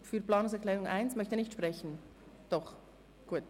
Wir starten mit Planungserklärung 1.